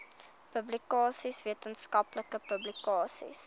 publikasies wetenskaplike publikasies